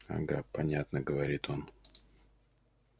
ага понятно говорит он